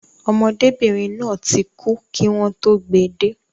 Ọmọdébìnrin náà ti kú kí wọn tó gbe dé